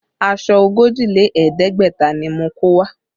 Aṣọ ogójì lé ẹ̀ẹ́dẹ́gbẹ̀ta ni mo kó wá